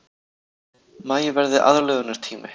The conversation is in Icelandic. Maí verði aðlögunartími